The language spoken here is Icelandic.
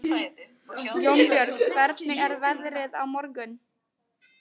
Jónbjörg, hvernig er veðrið á morgun?